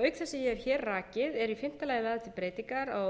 auk þess sem ég hef hér rakið eru í fimmta lagði lagðar til breytingar á þrettánda sautjándu og tuttugasta